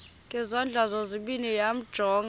ngezandla zozibini yamjonga